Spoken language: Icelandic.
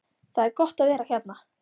Það er gott að vera hérna.